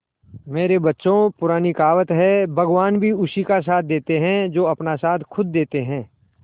मेरे बच्चों पुरानी कहावत है भगवान भी उसी का साथ देते है जो अपना साथ खुद देते है